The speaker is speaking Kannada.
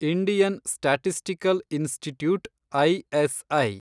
Indian statistical institute, ISI